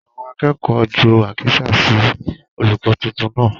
Àwọn akẹ́kọ̀ọ́ jù àkísà sí olùkọ tuntun naa.